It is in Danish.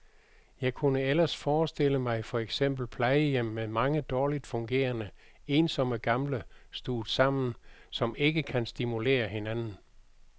Jeg kunne ellers forstille mig for eksempel plejehjem med mange dårligt fungerende, ensomme gamle stuvet sammen, som ikke kan stimulere hinanden.